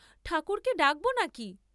ঠাকুরকে ডাক্‌ব নাকি।